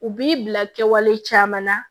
U b'i bila kɛwale caman na